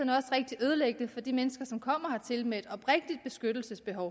rigtig ødelæggende for de mennesker som kommer hertil med et oprigtigt beskyttelsesbehov